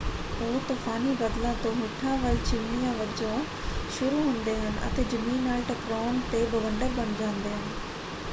ਉਹ ਤੂਫਾਨੀ ਬੱਦਲਾਂ ਤੋਂ ਹੇਠਾਂ ਵੱਲ ਚਿਮਨੀਆਂ ਵਜੋਂ ਸ਼ੁਰੂ ਹੁੰਦੇ ਹਨ ਅਤੇ ਜ਼ਮੀਨ ਨਾਲ ਟਕਰਾਉਣ ‘ਤੇ ਬਵੰਡਰ ਬਣ ਜਾਂਦੇ ਹਨ।